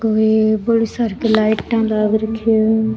कोई बोली सार की लाइट लाग रखी है।